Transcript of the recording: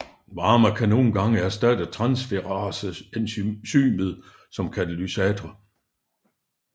Varme kan nogle gange erstatte transferase enzymet som katalysator